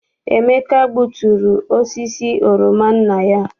Emeka gbuturu osisi oroma nna ya.